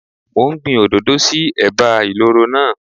Mò ń gbin òdòdó sí ẹ̀bá ìloro náà.